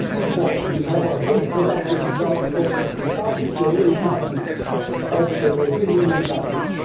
This report will have a very productive result because it targets the real economy of the European Union countries.